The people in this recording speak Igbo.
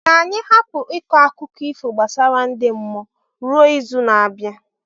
Ka anyị hapụ ịkọ akụkọ ifo gbasara ndi mmụọ ruo izu na-abịa.